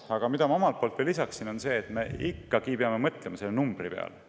Aga mida ma omalt poolt veel lisaksin, on see, et me peame ikkagi mõtlema selle numbri peale.